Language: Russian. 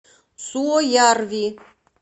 суоярви